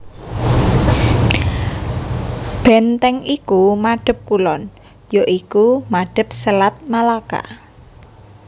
Bèntèng iku madhep kulon ya iku madhep Selat Malaka